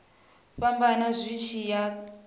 fhambana zwi tshi ya nga